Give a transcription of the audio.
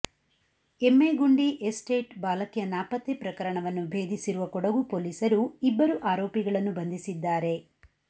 Emmegundi estate ಬಾಲಕಿಯ ನಾಪತ್ತೆ ಪ್ರಕರಣವನ್ನು ಭೇದಿಸಿರುವ ಕೊಡಗು ಪೊಲೀಸರು ಇಬ್ಬರು ಆರೋಪಿಗಳನ್ನು ಬಂಧಿಸಿದ್ದಾರೆ